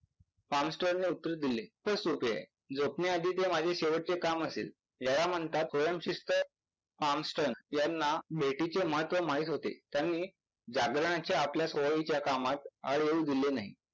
ने उत्तर दिले. its okay. झोपण्या आधीचे माझे शेवटचे काम असेल. ह्याला म्हणतात स्वयंशिस्त. यांना भेटीचे महत्व माहित होते. त्यांनी जागरणाची आपल्या सवयीच्या कामात आड येऊ दिले नाही.